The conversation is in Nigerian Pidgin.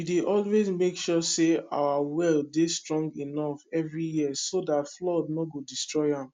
we dey always make sure say our well dey strong enough every year so dat flood nor go destroy am